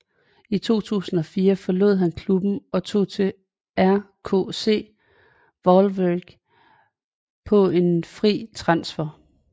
I 2004 forlod han klubben og tog til RKC Waalwijk på en fri transfer